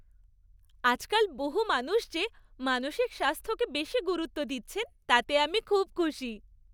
আজকাল বহু মানুষ যে মানসিক স্বাস্থ্যকে বেশি গুরুত্ব দিচ্ছেন তাতে আমি খুব খুশি।